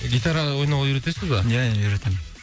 гитараға ойнауға үйретесіз ба ия ия үйретемін